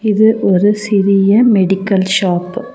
இது ஒரு சிறிய மெடிக்கல் ஷாப்பு .